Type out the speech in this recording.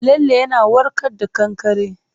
Lalle yana warka da kankare.